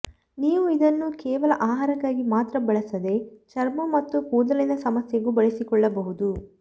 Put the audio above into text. ನೀವು ಇದನ್ನು ಕೇವಲ ಆಹಾರಕ್ಕಾಗಿ ಮಾತ್ರ ಬಳಸದೆ ಚರ್ಮ ಮತ್ತು ಕೂದಲಿನ ಸಮಸ್ಯೆಗೂ ಬಳಸಿಕೊಳ್ಳಬಹುದು